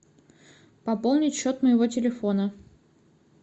пополнить счет моего телефона